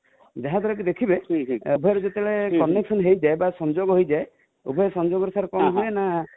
ଯାଉଥିବ ଯାହା ଦ୍ୱାରା କି ଦେଖିବେ ଫେର ଯେବେ connection ହେଇ ଯାଏ ବା ସଂଯୋଗ ହେଇ ଯାଏ ଉଭୟ ସଂଯୋଗ ରେ କଣ ହୁଏ ନା